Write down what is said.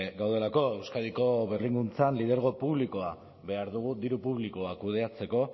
gaudelako euskadiko berrikuntzan lidergo publikoa behar dugu diru publikoa kudeatzeko